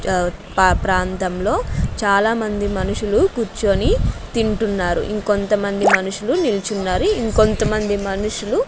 ప ప్రాంతంలో చాలామంది మనుషులు కూర్చొని తింటున్నారు ఇంకొంతమంది మనుషులు నిల్చున్నారు ఇంకొంతమంది మనుషులు--